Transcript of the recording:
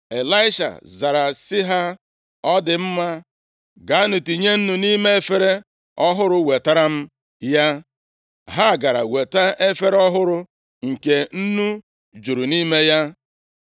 Ịlaisha zara sị ha, “Ọ dị mma, gaanụ tinye nnu nʼime efere ọhụrụ wetara m ya.” Ha gara weta efere ọhụrụ nke nnu juru nʼime ya.